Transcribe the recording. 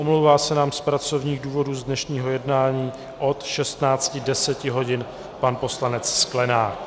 Omlouvá se nám z pracovních důvodů z dnešního jednání od 16.10 hodin pan poslanec Sklenák.